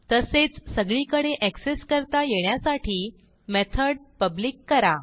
तसेच सगळीकडे एक्सेस करता येण्यासाठी मेथड पब्लिक करा